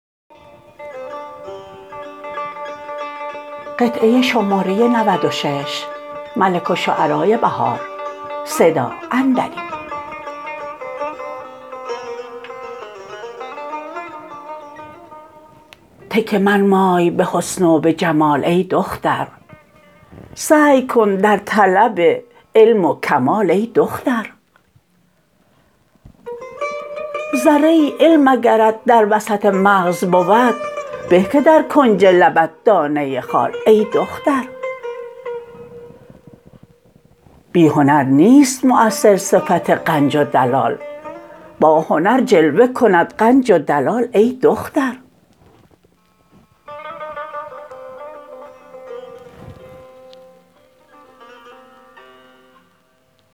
تکیه منمای به حسن و به جمال ای دختر سعی کن در طلب علم و کمال ای دختر ذره ای علم اگرت در وسط مغز بود به که در کنج لبت دانه خال ای دختر بی هنر نیست موثر صفت غنج و دلال با هنر جلوه کند غنج و دلال ای دختر